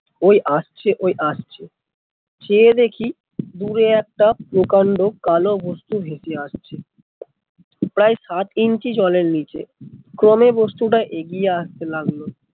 ওই আসছে ওই আসছে চেয়ে দেখি দূরে একটা প্রকান্ড কালো হস্তি ভেসে আসছে, প্রায় সাত ইঞ্চি জলের নিচে কালো বস্তু টা এগিয়ে আসতে লাগলো